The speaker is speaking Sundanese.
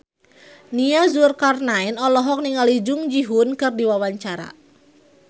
Nia Zulkarnaen olohok ningali Jung Ji Hoon keur diwawancara